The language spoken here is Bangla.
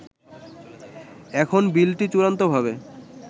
এখন বিলটি চূড়ান্তভাবে